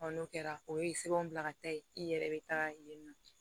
Ɔ n'o kɛra o ye sɛbɛn bila ka taa yen i yɛrɛ bɛ taga yen nɔ